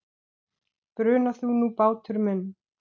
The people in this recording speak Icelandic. Bruna þú nú, bátur minn.